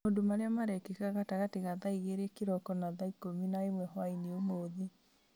maũndũ marĩa marekĩka gatagatĩ ga thaa igĩrĩ kĩroko na thaa ikũmi na ĩmwe hwaĩ-inĩ ũmũthĩ